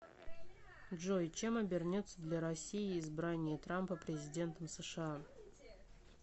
джой чем обернется для россии избрание трампа президентом сша